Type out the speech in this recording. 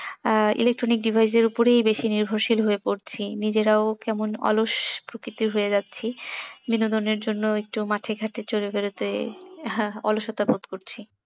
আহ electronic device এর ওপরই বেশি নির্ভরশীল হয়ে পরছি নিজেরাও কেমন অলস প্রকৃতির হয়ে যাচ্ছি বিনোদনের জন্য একটু মাঠে ঘাটে চড়ে বেড়াতে অলসতা বোধ করছি